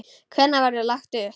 Hvenær verður lagt upp?